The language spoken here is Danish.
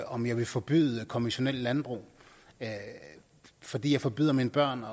om jeg vil forbyde konventionelt landbrug fordi jeg forbyder mine børn